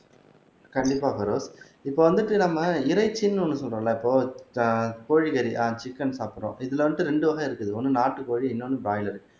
கண்டிப்பா பெரோஸ் இப்ப வந்துட்டு நம்ம இறைச்சின்னு ஒண்ணு சொல்றோம்ல இப்போ அஹ் கோழிக்கறி அஹ் சிக்கன் சாப்பிடுறோம் இதுல வந்துட்டு ரெண்டு வகை இருக்குது ஒண்ணு நாட்டுக்கோழி இன்னொன்னு பிராய்லர்